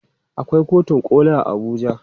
Akwai kotun koli a Abuja.